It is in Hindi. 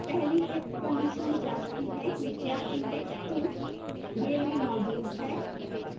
पहली if condition जाँचती है कि the index two day में मौजूद है